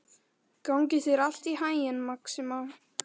Gangi þér allt í haginn, Maxima.